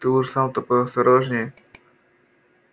ты уж сам-то поосторожнее